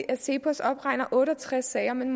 at cepos opregner otte og tres sager men